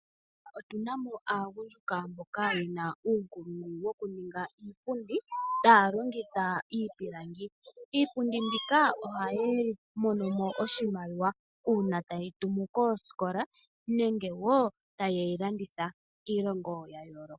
Otuna mo aagundjuka mboka yena uunkulungu wokuninga iipundi taya longitha iipilangi. Iipundi mbika ohaya monomo oshimaliwa uuna tayi tumu koosikola nenge wo taye yi landitha kiilongo yayoolokathana.